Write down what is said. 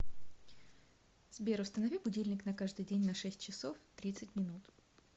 сбер установи будильник на каждый день на шесть часов тридцать минут